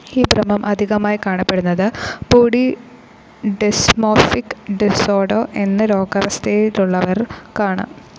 ഈ ഭ്രമം അധികമായി കാണപ്പെടുന്നത് ബോഡി ഡിസ്‌മോർഫിക് ഡിസോർഡർ എന്ന രോഗാവസ്ഥറയിലുള്ളവർക്കാണ്.